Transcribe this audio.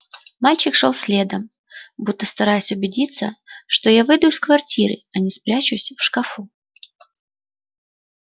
мальчик шёл следом будто стараясь убедиться что я выйду из квартиры а не спрячусь в шкафу